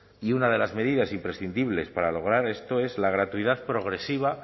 y una de las medidas imprescindibles para lograr esto es la gratuidad progresiva